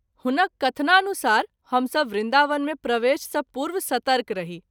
हुनक कथनानुसार हम सभ वृन्दावन मे प्रवेश सँ पूर्व सतर्क रही।